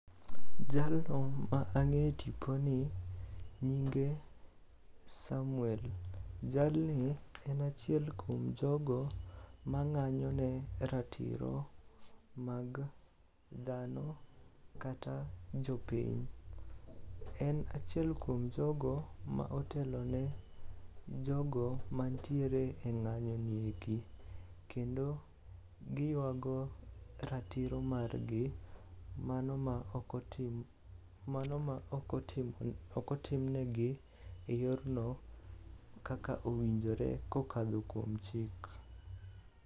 Jalno ma ang'e e tiponi nyinge Samuel, jalni en achiel kuom jogo mang'anyo ne ratiro mag dhano kata jopiny. En achiel kuom jogo ma otelone jogo mantiere e ng'anyoni eki kendo giywago ratiro margi mano ma ok otimnegi e yorno kaka owinjore kokadho kuom chik.